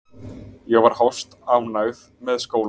Ég var hæstánægð með skólann.